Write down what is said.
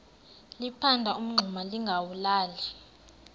liphanda umngxuma lingawulali